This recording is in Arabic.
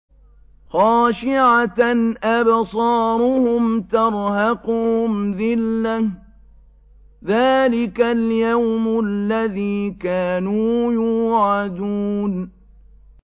خَاشِعَةً أَبْصَارُهُمْ تَرْهَقُهُمْ ذِلَّةٌ ۚ ذَٰلِكَ الْيَوْمُ الَّذِي كَانُوا يُوعَدُونَ